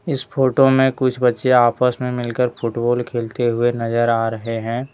इस फोटो में कुछ बच्चे आपस में मिलकर फुटबॉल खेलते हुए नजर आ रहे हैं।